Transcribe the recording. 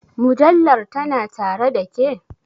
Mujallar tana tare ɗa ke?